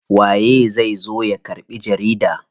Waye zai zo ya karɓi jarida?